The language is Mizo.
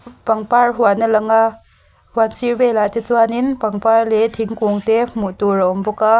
pangpar huan a lang a hian sir velah te chuanin pangpar leh thingkung te hmuh tur a awm bawk a.